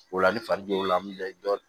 O la ni fari be la